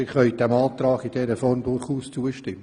Sie können dem vorliegenden Antrag durchaus zustimmen.